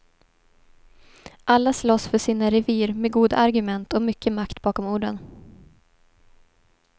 Alla slåss för sina revir med goda argument och mycket makt bakom orden.